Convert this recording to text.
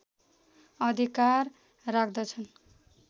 अधिकार राख्दछन्